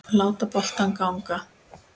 Láta boltann ganga.